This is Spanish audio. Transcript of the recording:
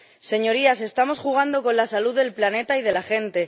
Señorías, estamos jugando con la salud del planeta y de la gente.